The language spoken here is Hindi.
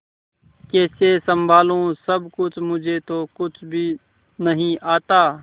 कैसे संभालू सब कुछ मुझे तो कुछ भी नहीं आता